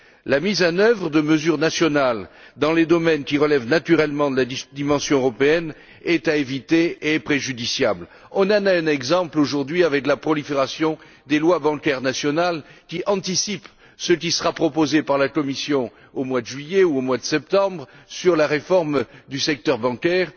La mise en œuvre de mesures nationales dans les domaines qui relèvent, naturellement, de la dimension européenne est préjudiciable et à éviter. On en a un exemple, aujourd'hui, avec la prolifération des lois bancaires nationales, qui anticipent ce qui sera proposé par la Commission au mois de juillet ou au mois de septembre dans le cadre de la réforme du secteur bancaire.